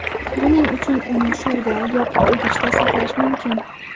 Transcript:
Buning uchun uni suvda, yopiq idishda saqlash mumkin.